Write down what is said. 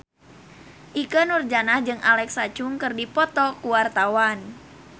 Ikke Nurjanah jeung Alexa Chung keur dipoto ku wartawan